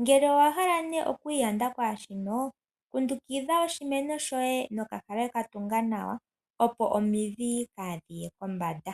Ngele owa hala nee okwiiyanda kwaashi no, kundukitha oshimeno shoye nokapale katunga nawa opo omidhi kaa dhiye kombanda.